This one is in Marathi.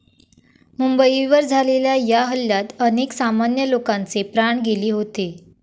मुंबईवर झालेल्या या हल्ल्यात अनेक सामान्य लोकांचे प्राण गेले होते.